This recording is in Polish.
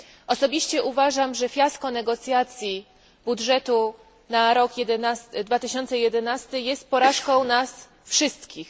Osobiście uważam, że fiasko negocjacji budżetu na rok 2011 jest porażką nas wszystkich.